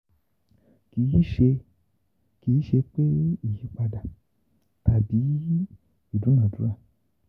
Kì í ṣe Kì í ṣe péìyípadà tàbí ìdúnàádúrà.